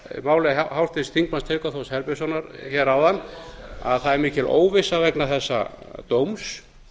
máli háttvirts þingmanns tryggva þórs herbertssonar hér áðan að það er mikil óvissa vegna þessa dóms